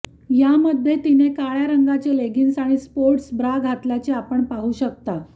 यामध्ये तिने काळ्या रंगाचे लेगिंग्स आणि स्पोर्ट्स ब्रा घातल्याचे आपण पाहू शकता